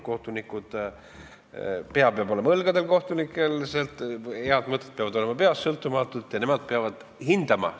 Kohtunikul peab olema pea õlgadel, head mõtted peavad olema tal peas sõltumatult, ta peab hindama.